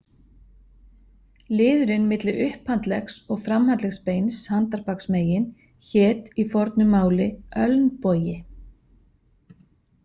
Liðurinn milli upphandleggs- og framhandleggsbeins handarbaksmegin hét í fornu máli ölnbogi.